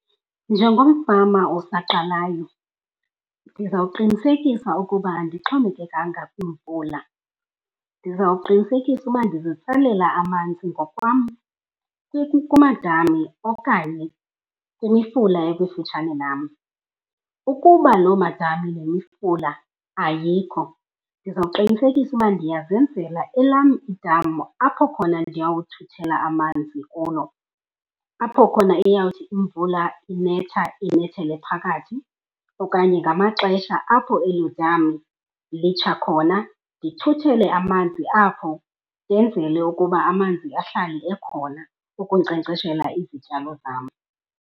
Njengomfama osaqalayo ndizawuqinisekisa ukuba andixhomekekanga kwimvula, ndizawuqinisekisa ukuba ndizitsalela amanzi ngokwam kumadami okanye kwimifula ekufutshane nam. Ukuba loo madami nemifula ayikho, ndizawuqinisekisa ukuba ndiyazenzela elam idama. Apho khona ndiyawuthuthela amanzi kulo, apho khona iyawuthi imvula inetha inethele phakathi. Okanye ngamaxesha apho eli dami litsha khona, ndithuthele amanzi apho ndenzele ukuba amanzi ahlale ekhona ukunkcenkceshela izityalo zam.